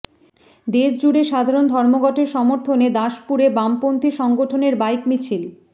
দেশজুড়ে সাধারণ ধর্মঘটের সমর্থনে দাসপুরে বামপন্থী সংগঠনের বাইক মিছিল